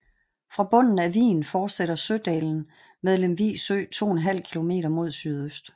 Fra bunden af vigen fortsætter Sødalen med Lemvig Sø 2½ km mod sydøst